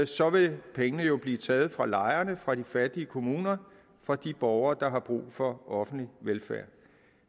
så vil pengene jo blive taget fra lejerne fra de fattige kommuner fra de borgere der har brug for offentlig velfærd